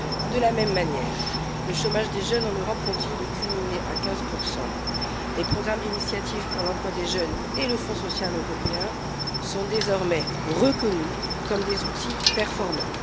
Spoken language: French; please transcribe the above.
De la même manière, le chômage des jeunes en Europe continue de culminer à 15 Les programmes de l'initiative Emploi des jeunes et le Fonds social européen sont désormais reconnus comme des outils performants.